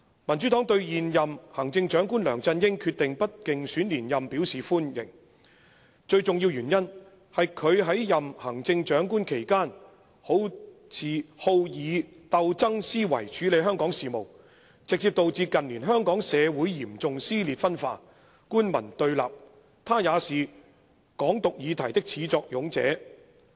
"民主黨對現任行政長官梁振英決定不競選連任表示歡迎，最重要的原因，是他在任行政長官期間，好以鬥爭思維處理香港事務，直接導致近年香港社會嚴重撕裂分化、官民對立，他也是'港獨'議題的始作俑者。